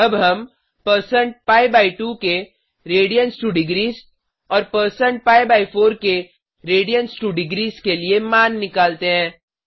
अब हम160pi2 के radians2डिग्रीस और पी4 के radians2डिग्रीस के लिए मान निकालते हैं